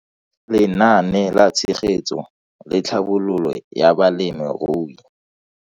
Lenaane la Tshegetso le Tlhabololo ya Balemirui.